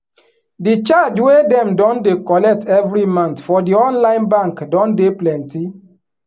di charge wey dem don dey collect every month for di online bank don dey plenty